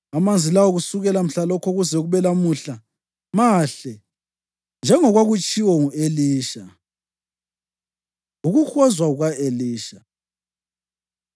Amanzi lawo kusukela mhlalokho kuze kube lamuhla mahle, njengokwakutshiwo ngu-Elisha. Ukuhozwa Kuka-Elisha